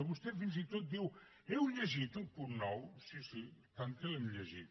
vostè fins i tot diu heu llegit el punt nou sí sí i tant que l’hem llegit